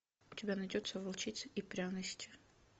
у тебя найдется волчица и пряности